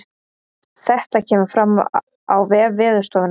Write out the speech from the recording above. Þetta kemur fram á vef veðurstofunnar